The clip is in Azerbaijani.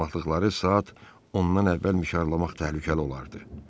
Barmaqlıqları saat ondan əvvəl mişarlamaq təhlükəli olardı.